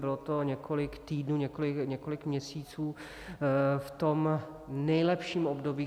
Bylo to několik týdnů, několik měsíců v tom nejlepším období.